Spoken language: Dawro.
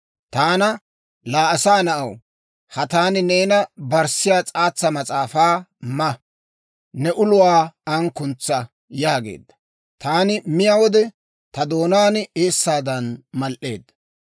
Taana, «Laa asaa na'aw, ha taani neena barssiyaa s'aatsa mas'aafaa ma; ne uluwaa an kuntsa» yaageedda. Taani miyaa wode, ta doonaan eessaadan mal"eedda.